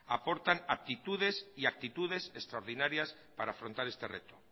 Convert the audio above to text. aportan aptitudes y actitudes extraordinarias para afrontar este reto